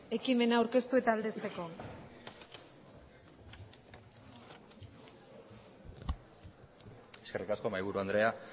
ekimena aurkeztu eta aldezteko eskerrik asko mahaiburu andrea